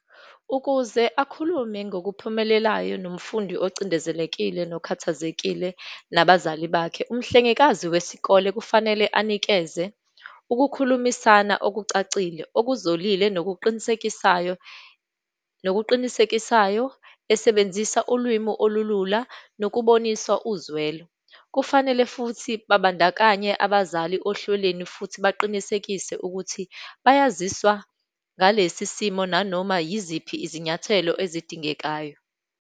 Ukuze akhulume ngokuphumelelayo nomfundi ocindezelekile nokhathazekile nabazali bakhe, umhlengikazi wesikole kufanele anikeze ukukhulumisana okucacile, okuzolile, nokuqinisekisayo, nokuqinisekisayo, esebenzisa ulwimi olulula, nokubonisana uzwelo. Kufanele futhi babandakanye abazali ohlelweni futhi baqinisekise ukuthi bayaziswa ngalesi simo nanoma yiziphi izinyathelo ezidingekayo.